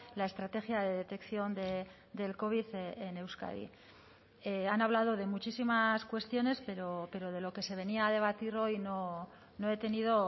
la estrategia de detección del covid en euskadi han hablado de muchísimas cuestiones pero de lo que se venía a debatir hoy no he tenido